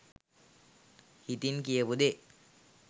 හිතින් කියපු දේ